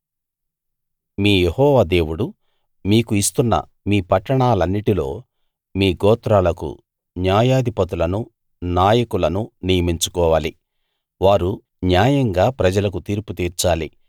మీ యెహోవా దేవుడు మీకు ఇస్తున్న మీ పట్టణాలన్నిటిలో మీ గోత్రాలకు న్యాయాధిపతులనూ నాయకులనూ నియమించుకోవాలి వారు న్యాయంగా ప్రజలకు తీర్పుతీర్చాలి